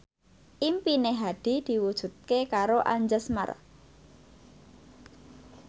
impine Hadi diwujudke karo Anjasmara